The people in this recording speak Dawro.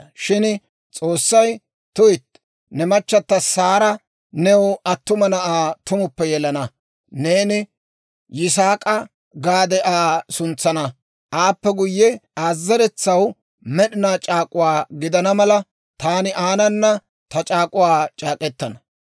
Shin S'oossay, «Tuytti, ne machata Saara new attuma na'aa tumuppe yelana; neeni Yisaak'a gaade Aa suntsana. Aappe guyye, Aa zeretsaw med'inaa c'aak'uwaa gidana mala, taani aanana ta c'aak'uwaa c'aak'k'etana.